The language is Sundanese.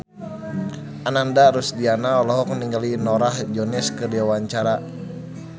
Ananda Rusdiana olohok ningali Norah Jones keur diwawancara